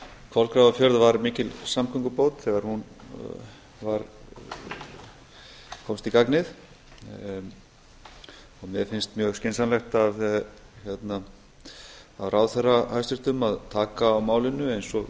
kolgrafafjörð var mikil samgöngubót þegar hún komst í gagnið en mér finnst mjög skynsamlegt af hæstvirtum ráðherra að taka á málinu eins og